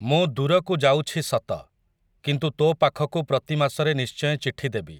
ମୁଁ ଦୂରକୁ ଯାଉଛି ସତ, କିନ୍ତୁ ତୋ ପାଖକୁ ପ୍ରତି ମାସରେ ନିଶ୍ଚୟ ଚିଠି ଦେବି ।